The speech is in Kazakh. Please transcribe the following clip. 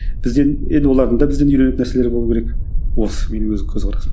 бізден енді олардың да бізден үйренетін нәрселері болу керек осы менің өз көзқарасым